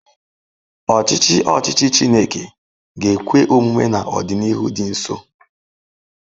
Ọchịchị ọchịchị Chineke ga-ekwe omume n'ọdịnihu dị nso.